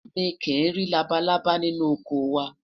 mí kí nri labalábá ninu ọkọ wa